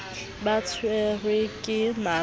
ba tshwerwe ke mala ke